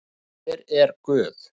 En hver er Guð?